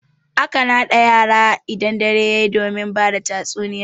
A kan haɗa kan yara idan dare yayi domin bada tatsuniya.